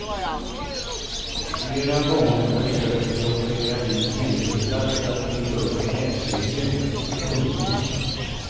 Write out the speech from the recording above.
Flera gånger försökte de operera in benbitar för att bygga upp näsryggen. punkt